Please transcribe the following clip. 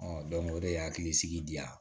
o de ye hakilisigi diya